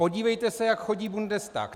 Podívejte se, jak chodí Bundestag.